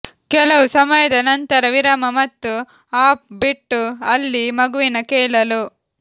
ಕೆಲವು ಸಮಯದ ನಂತರ ವಿರಾಮ ಮತ್ತು ಆಫ್ ಬಿಟ್ಟು ಅಲ್ಲಿ ಮಗುವಿನ ಕೇಳಲು